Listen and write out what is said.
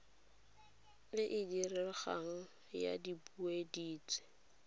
e e diregang ya dipuodintsi